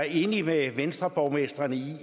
en række venstreborgmestre den